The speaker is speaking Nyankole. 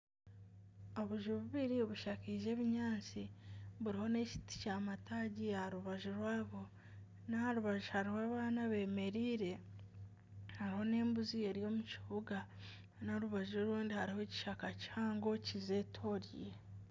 Obuju bubiri bushakaize ebinyaatsi buriho n'ekiti ky'amataagi aha rubaju rwabwo n'aha rubaju hariho abaana bemereire. Hariho n'embuzi eri omu kibuga n'orubaju orundi hariho ekishaka kihango kizetororire